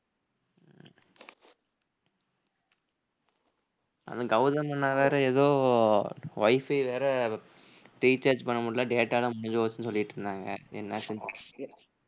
அந்த கௌதம் அண்ணா வேற ஏதோ wifi வேற recharge பண்ண முடியலை data எல்லாம் முடிஞ்சு போச்சுன்னு சொல்லிட்டிருந்தாங்க என்ன ஆச்சுன்னு தெரில